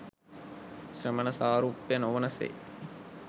ශ්‍රමණ සාරුප්‍ය නොවන සේ